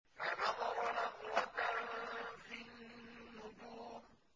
فَنَظَرَ نَظْرَةً فِي النُّجُومِ